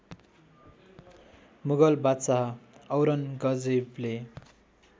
मुगल बादशाह औरन्गजेवले